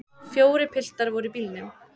Fjórir piltar voru í bílnum.